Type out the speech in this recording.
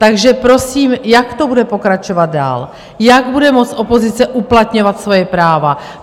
Takže prosím, jak to bude pokračovat dál, jak bude moci opozice uplatňovat svoje práva?